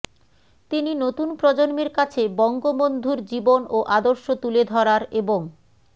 তিনি নতুন প্রজন্মের কাছে বঙ্গবন্ধুর জীবন ও আদর্শ তুলে ধরার এবং